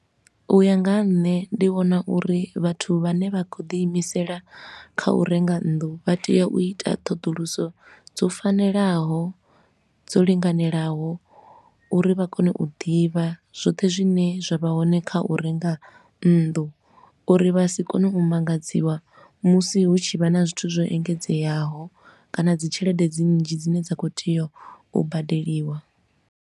U ya nga ha nṋe ndi vhona uri vhathu vhane vha khou ḓi imisela kha u renga nnḓu vha tea u ita ṱhoḓuluso dzo fanelaho, dzo linganelaho. Uri vha kone u ḓivha zwoṱhe zwine zwa vha hone kha u renga nnḓu, uri vha si kone u mu ṱanganedziwa musi hu tshi vha na zwithu zwo engedzeaho kana dzi tshelede dzi nnzhi dzine dza khou tea u badeliwa.